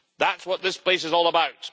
That's what this place is all about.